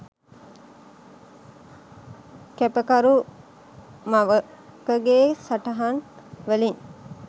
කැපකරු මවකගේ සටහන් වලින්..